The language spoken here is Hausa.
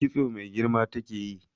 Kitso mai girma take yi.